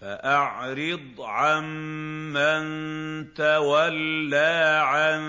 فَأَعْرِضْ عَن مَّن تَوَلَّىٰ عَن